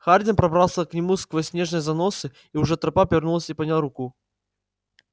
хардин пробрался к нему сквозь снежные заносы и уже у трапа повернулся и поднял руку